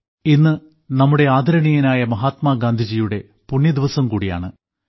ഇന്ന് നമ്മുടെ ആദരണീയനായ മഹാത്മാഗാന്ധിജിയുടെ പുണ്യ ദിവസം കൂടിയാണ്